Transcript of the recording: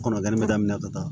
Kɔnɔjani bɛ daminɛ ka taa